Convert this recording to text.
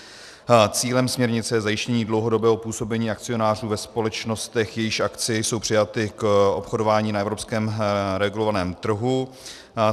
Cílem směrnice je zajištění dlouhodobého působení akcionářů ve společnostech, jejichž akcie jsou přijaty k obchodování na evropském regulovaném trhu.